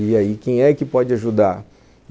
E aí, quem é que pode ajudar?